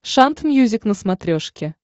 шант мьюзик на смотрешке